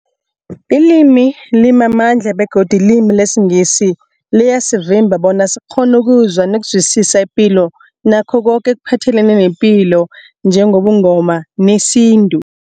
Ilimi limamandla begodu ilimi lesiNgisi liyasivimba bona sikghone ukuzwa nokuzwisisa ipilo nakho koke ekuphathelene nepilo njengobuNgoma nesintu.